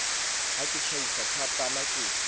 ha ke tjhaisa thapama ke